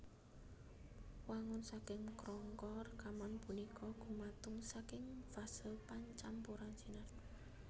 Wangun saking krangka rekaman punika gumatung saking fase pancampuran sinar